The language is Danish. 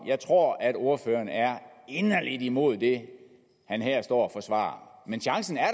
jeg tror at ordføreren er inderlig imod det han her står og forsvarer men chancen er